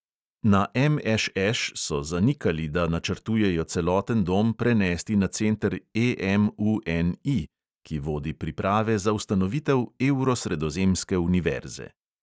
Na MŠŠ so zanikali, da načrtujejo celoten dom prenesti na center EMUNI, ki vodi priprave za ustanovitev evro-sredozemske univerze.